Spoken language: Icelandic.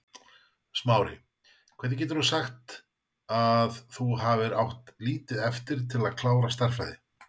Smári, hvernig getur þú sagt að þú hafir átt lítið eftir til að klára stærðfræði?